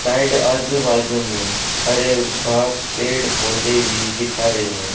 Side आजू बाजू में हरे घास पेड़ पौधे भी दिख रहे हैं।